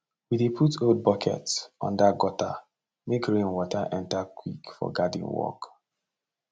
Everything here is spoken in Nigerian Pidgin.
we dey put old bucket under gutter make rain water enter quick for garden work